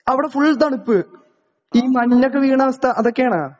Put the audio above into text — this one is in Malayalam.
അവിടെ ഫുൾ തണുപ്പ് ഈ മഞ്ഞൊക്കെ വീഴ്ണവസ്ഥ അതൊക്കേണോ.